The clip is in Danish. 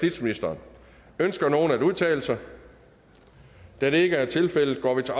ønsker ønsker nogen at udtale sig da det ikke er tilfældet går vi til